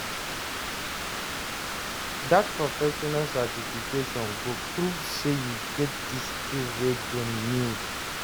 Dat professional certification go prove sey you get di skills wey dem need.